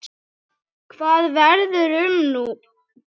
Hvað verður um okkur nú?